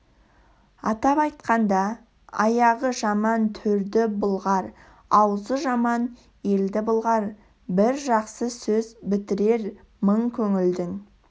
атап айтқанда аяғы жаман төрді былғар аузы жаман елді былғар бір жақсы сөз бітірер мың көңілдің